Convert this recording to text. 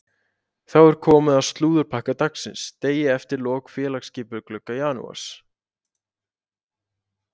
Þá er komið að slúðurpakka dagsins degi eftir lok félagsskiptaglugga janúars.